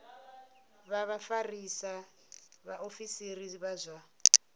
vha vhafarisa vhaofisiri vha zwa